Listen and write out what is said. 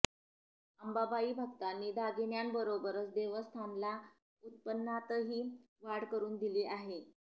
अंबाबाई भक्तांनी दागिन्यांबरोबरच देवस्थानला उत्पन्नातही वाढ करून दिली आहे